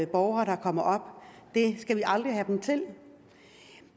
borgere der kommer det skal vi aldrig have dem til